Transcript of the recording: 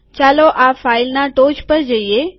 ચાલો આ ફાઈલના ટોચ પર જઈએ